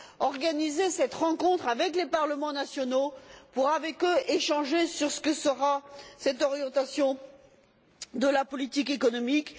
organiser cette rencontre avec les parlements nationaux pour échanger avec eux sur ce que sera cette orientation de la politique économique.